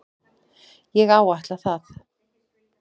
Ég áætla það.